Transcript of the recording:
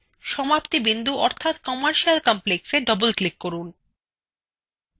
সমাপ্তি বিন্দু অর্থাত commercial complexতে doubleclick করুন